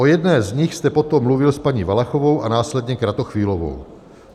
O jedné z nich jste potom mluvil s paní Valachovou a následně Kratochvílovou.